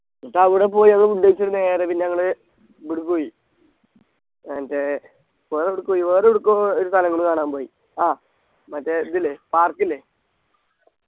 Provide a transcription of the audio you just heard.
എന്നിട്ട് അവിടെ പോയി ഞങ്ങൾ Food കഴിച്ചിട്ട് നേരെ പിന്നെ ഞങ്ങള് ഇവിടെ പോയി ഏർ മറ്റേ വേറെ എവിടക്ക് പോയി വേറെ എവിടക്കോ ഒരു സ്ഥലങ്ങൾ കാണാൻ പോയി ആ മറ്റേ ഇതില്ലേ Park ഇല്ലേ